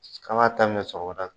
K'an ka qaminɛ sɔgɔmada fɛ.